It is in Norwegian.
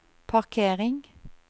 parkering